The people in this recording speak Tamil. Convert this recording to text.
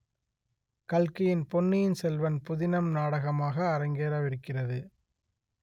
கல்கியின் பொன்னியின் செல்வன் புதினம் நாடகமாக அரங்கேறவிருக்கிறது